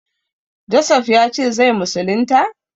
Josef ya ce zai musulunta?